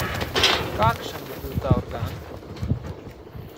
Kakšen bi bil ta organ?